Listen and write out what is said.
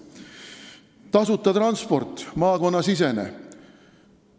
Tasuta maakonnasisene transport.